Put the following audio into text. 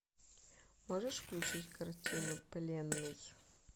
можешь включить картину пленный